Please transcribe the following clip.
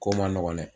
Ko man nɔgɔn dɛ